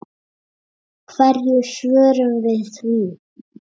Hverju svörum við því?